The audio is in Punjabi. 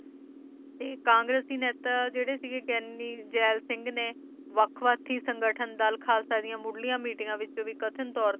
ਤੇ ਕਾਂਗ੍ਰੇਸੀ ਨੇਤਾ ਜਿਹੜੇ ਸੀਗੇ ਗਿਆਨੀ ਜੈਲ ਸਿੰਘ ਨੇ ਵੱਖ ਵੱਖ ਸੰਗਠਨ ਦਲ ਖਾਲਸਾ ਦੀਆਂ ਮੁਢਲੀਆਂ ਮੀਟਿੰਗ ਵਿਚੋਂ ਵੀ ਕਥਿਤ ਤੌਰ ਤੇ